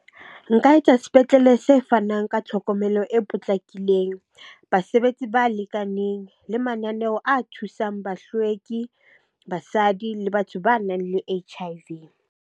Nka etsa sepetlele se fanang ka tlhokomelo e potlakileng, basebetsi ba lekaneng, le mananeo a thusang bahlweki, basadi le batho banang le H_I_V.